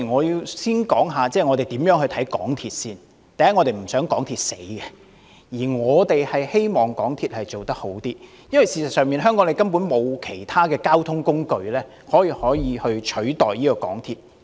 首先，我們不想港鐵公司不濟，反而希望該公司做好一點，皆因香港沒有其他交通工具可以取代港鐵。